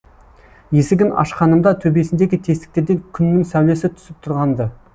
есігін ашқанымда төбесіндегі тесіктерден күннің сәулесі түсіп тұрған ды